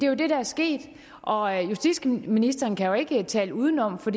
jo det der er sket og justitsministeren kan ikke tale udenom for